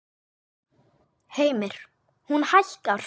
Heimir: Hún hækkar?